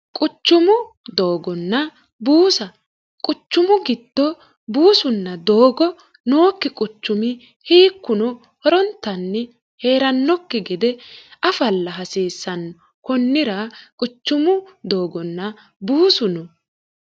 quchumu doogonna buusa quchumu gitto buusunna doogo nookki quchumi hiikkuno horontanni hee'rannokki gede afalla hasiissanno konnira quchumu doogonna buusu no